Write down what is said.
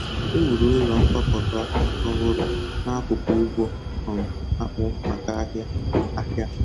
E wuru ụlọ nkwakọba ọhụrụ n'akụkụ ugbo um akpụ maka ahịa. ahịa.